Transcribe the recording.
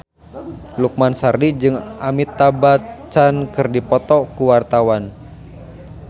Lukman Sardi jeung Amitabh Bachchan keur dipoto ku wartawan